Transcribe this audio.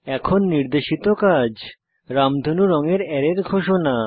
এখন নির্দেশিত কাজ রামধনু রঙের অ্যারের ঘোষণা